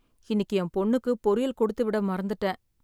இன்னைக்கு என் பொண்ணுக்கு பொரியல் கொடுத்து விட மறந்துட்டேன்.